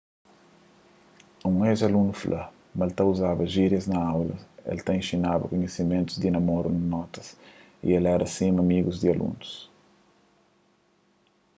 un ex-alunu fla ma el ta uzaba jírias na aulas el ta inxinaba kunhisimentu di namoru na notas y el éra sima un amigu di alunus